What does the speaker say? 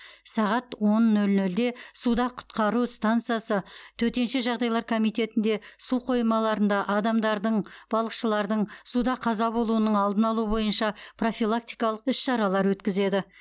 сағат он нөл нөлде суда құтқару стансасы төтенше жағдайлар комитетінде су қоймаларында адамдардың балықшылардың суда қаза болуының алдын алу бойынша профилактикалық іс шаралар өткізеді